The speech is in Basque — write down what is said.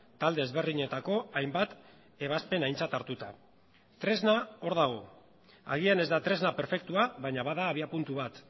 talde ezberdinetako hainbat ebazpen aintzat hartuta tresna hor dago agian ez da tresna perfektua baina bada abiapuntu bat